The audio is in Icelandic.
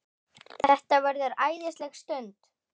Þetta verður æðisleg stund.